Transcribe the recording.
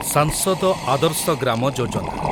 ସାଂସଦ ଆଦର୍ଶ ଗ୍ରାମ ଯୋଜନା